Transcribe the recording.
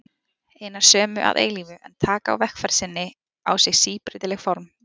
Hinar sömu að eilífu, en taka á vegferð sinni á sig síbreytileg form.